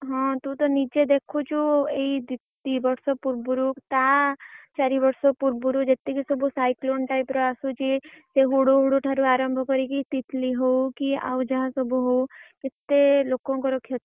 ହଁ ତୁ ତ ନିଜେ ଦେଖୁଛୁ ଏଇ ଦି ଦି ବର୍ଷ ପୁର୍ବୁରୁ ତା ଚାରି ବର୍ଷ ପୂର୍ବୁରୁ ଯେତିକି ସବୁ cyclone type ର ଆସୁଛି ସେ ହୁଡ୍ହୁଡ ଠାରୁ ଆରମ୍ଭ କରିକି ତିତଲି ହଉ କି ଆଉ ଯାହା ସବୁ ହଉ କେତେ ଲୋକଙ୍କର କ୍ଷତି